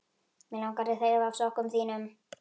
Mig langar að þefa af sokkum þínum.